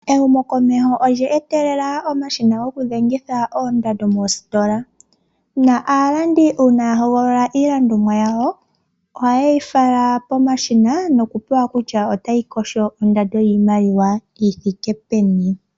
Ehumokomeho olye etelela omashina gokudhengitha oondando moositola. Uuna aalandi ya hogolola iilandomwa yawo, ohaye yi fala pomashina nokupula kutya otayi kotha ingapi ondando yiimaliwa yi thike peni.